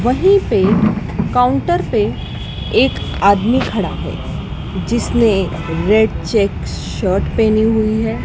वहीं से काउंटर पे एक आदमी खड़ा है जिसने रेड चेक्स शर्ट पेहनी हुई है।